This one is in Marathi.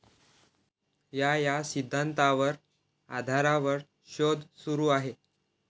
या या सिद्धांतावर आधारावर शोध सुरू आहे